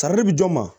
bi jɔn ma